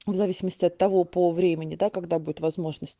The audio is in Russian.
в зависимости от того по времени да когда будет возможность